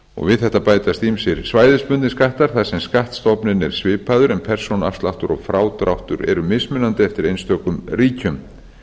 við þetta bætast ýmsir svæðisbundnir skattar þar sem skattstofninn er svipaður en persónuafsláttur og frádráttur eru mismunandi eftir einstökum ríkjum